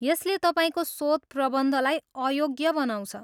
यसले तपाईँको शोधप्रबन्धलाई अयोग्य बनाउँछ।